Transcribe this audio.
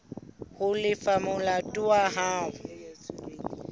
ho lefa molato wa hao